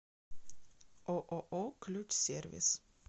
ооо ключсервис